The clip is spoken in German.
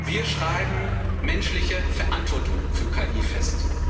Wir schreiben menschliche Verantwortung für KI fest.